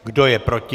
Kdo je proti?